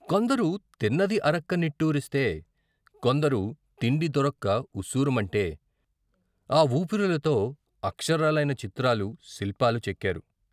కొందరు తిన్నది అరక్క నిట్టూరిస్తే, కొందరు తిండి దొరక్క ఉస్సురుమంటే, ఆవూపిరులతో అక్షరాలైన చిత్రాలు, శిల్పాలు చెక్కారు.